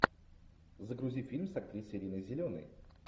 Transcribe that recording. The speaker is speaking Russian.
загрузи фильм с актрисой риной зеленой